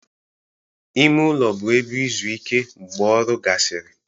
Ime ụlọ bụ ebe izu ike mgbe ọrụ gasịrị